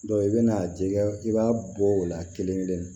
i bɛna jɛgɛ i b'a bɔ o la kelen kelen na